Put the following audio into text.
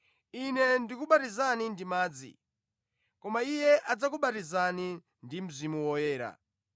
Ine ndikubatizani ndi madzi, koma Iye adzakubatizani ndi Mzimu Woyera.”